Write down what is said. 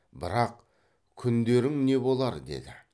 бірақ күндерің не болар деді